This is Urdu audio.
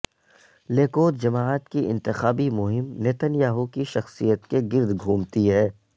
لیکود جماعت کی انتخابی مہم نتین یاہو کی شخصیت کے گرد گھومتی ہے